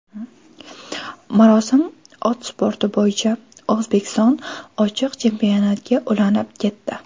Marosim ot sporti bo‘yicha O‘zbekiston ochiq chempionatiga ulanib ketdi.